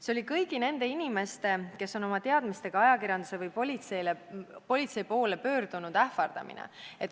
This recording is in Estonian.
" See oli kõigi nende inimeste, kes on oma teadmistega ajakirjanduse või politsei poole pöördunud, ähvardamine.